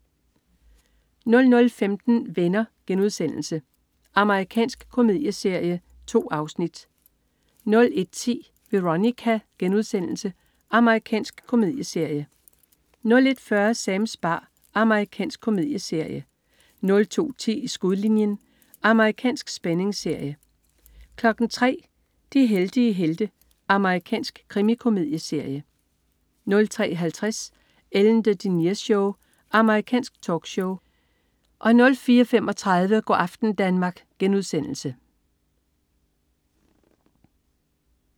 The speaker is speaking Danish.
00.15 Venner.* Amerikansk komedieserie. 2 afsnit 01.10 Veronica.* Amerikansk komedieserie 01.40 Sams bar. Amerikansk komedieserie 02.10 I skudlinjen. Amerikansk spændingsserie 03.00 De heldige helte. Amerikansk krimikomedieserie 03.50 Ellen DeGeneres Show. Amerikansk talkshow 04.35 Go' aften Danmark*